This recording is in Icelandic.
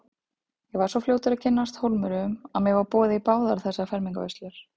Ég var svo fljótur að kynnast Hólmurum að mér var boðið í báðar þessar fermingarveislur.